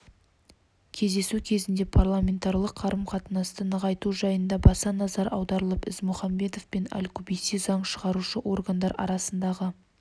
кездесу кезінде парламентаралық қарым-қатынасты нығайту жайына баса назар аударылып ізмұхамбетов пен аль-кубейси заң шығарушы органдар арасындағы